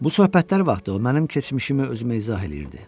Bu söhbətlər vaxtı o mənim keçmişimi özümə izah eləyirdi.